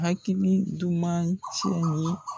Hakili duman cɛn ye.